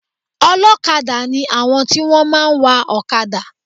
Olókadá ni àwọn tí wọ́n máa ń wa òkadà